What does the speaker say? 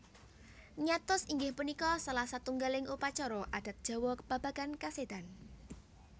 Nyatus inggih punika salah satunggaling upacara adat Jawa babagan kasédan